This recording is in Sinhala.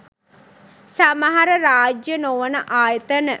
සමහර රාජ්‍යය නොවන ආයතන